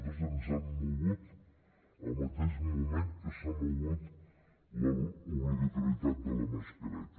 nosaltres ens hem mogut al mateix moment que s’ha mogut l’obligatorietat de la mascareta